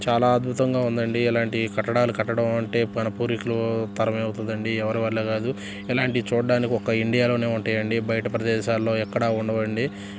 చాలా అధ్బుతంగా ఉందండి ఇలాంటి కట్టడాలు కట్టడం అంటే మనం పూర్వీకులు తరమే అవుతుందండి ఎవరి వాళ్ళ కాదు ఇలాంటివి చూడటానికి ఒక ఇండియా లోనే ఉంటాయండి బయట ప్రదేశాల్లో ఎక్కడ ఉండవండి.